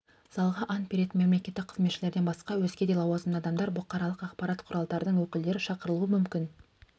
залға ант беретін мемлекеттік қызметшілерден басқа өзге де лауазымды адамдар бұқаралық ақпарат құралдарының өкілдері шақырылуы мүмкін